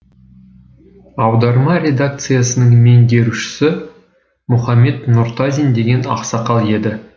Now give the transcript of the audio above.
аударма редакциясының меңгерушісі мұхамед нұртазин деген ақсақал еді